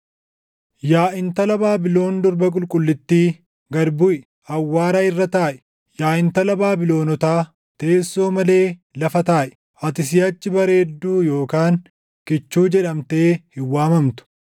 “Yaa intala Baabilon Durba Qulqullittii, gad buʼi; awwaara irra taaʼi; yaa Intala Baabilonotaa, teessoo malee lafa taaʼi! Ati siʼachi bareedduu yookaan kichuu jedhamtee hin waamamtu.